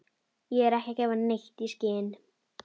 Ég er ekki að gefa neitt í skyn.